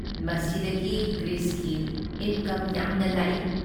ꯃꯁꯤꯗꯒꯤ ꯒ꯭ꯔꯤꯁꯀꯤ ꯏꯟꯀꯝ ꯌꯥꯝꯅ ꯂꯥꯛꯏ ꯫"